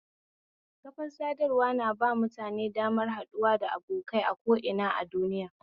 Kafar sadarwa na ba mutane damar haɗuwa da abokai a ko'ina a duniya